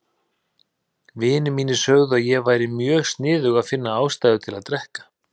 Vinir mínir sögðu að ég væri mjög sniðug að finna ástæðu til að drekka.